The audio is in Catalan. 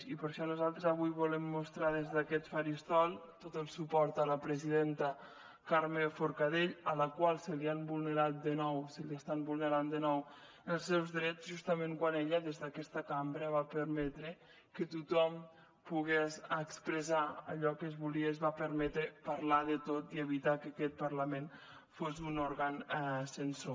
i per això nosaltres avui volem mostrar des d’aquest faristol tot el suport a la presidenta carme forcadell a la qual se li han vulnerat de nou se li estan vulnerant de nou els seus drets justament quan ella des d’aquesta cambra va permetre que tothom pogués expressar allò que es volia i es va permetre parlar de tot i evitar que aquest parlament fos un òrgan censor